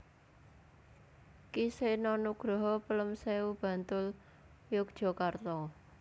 Ki Seno Nugroho Pelemsewu Bantul Yogyakarta